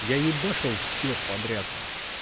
я ебашил всё подряд